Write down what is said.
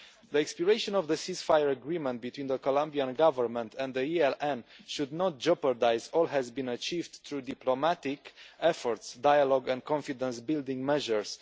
The expiration of the ceasefire agreement between the Colombian Government and the ELN should not jeopardise all that has been achieved through diplomatic efforts, dialogue and confidence building measures.